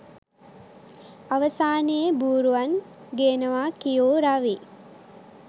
අවසානයේ බූරුවන් ගේනවා කියූ රවී